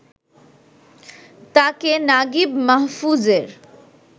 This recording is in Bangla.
তাঁকে নাগিব মাহফুজের